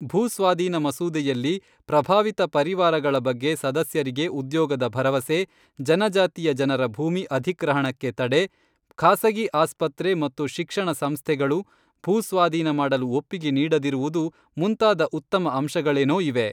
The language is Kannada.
ಭೂಸ್ವಾಧೀನ ಮಸೂದೆಯಲ್ಲಿ ಪ್ರಭಾವಿತ ಪರಿವಾರಗಳ ಬಗ್ಗೆ ಸದಸ್ಯರಿಗೆ ಉದ್ಯೋಗದ ಭರವಸೆ, ಜನಜಾತಿಯ ಜನರ ಭೂಮಿ ಅಧಿಗ್ರಹಣಕ್ಕೆ ತಡೆ, ಖಾಸಗಿ ಆಸ್ಪತ್ರೆ ಮತ್ತು ಶಿಕ್ಷಣ ಸಂಸ್ಥೆಗಳು ಭೂ ಸ್ವಾಧೀನ ಮಾಡಲು ಒಪ್ಪಿಗೆ ನೀಡದಿರುವುದು ಮುಂತಾದ ಉತ್ತಮ ಅಂಶಗಳೇನೋ ಇವೆ.